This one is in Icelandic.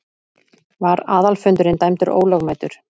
Var aðalfundurinn dæmdur ólögmætur.